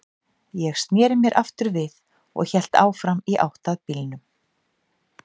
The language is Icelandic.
Ég sneri mér aftur við og hélt áfram í átt að bílnum.